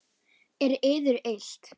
Er yður illt?